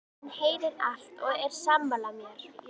Hann heyrir allt og er sammála mér.